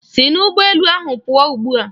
Si n'ụgbọ elu ahụ pụọ ugbua!